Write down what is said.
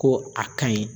Ko a kaɲi